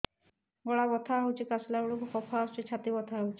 ଗଳା ବଥା ହେଊଛି କାଶିଲା ବେଳକୁ କଫ ଆସୁଛି ଛାତି ବଥା ହେଉଛି